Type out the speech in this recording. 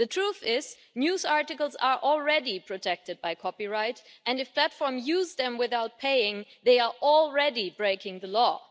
The truth is that news articles are already protected by copyright, and if platforms use them without paying they are already breaking the law.